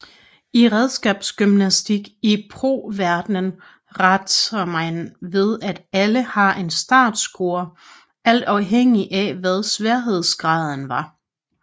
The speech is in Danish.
I redskabsgymnastik i pro verdenen rater man ved at alle har en startscore alt afhængigt af hvad sværhedsgraden var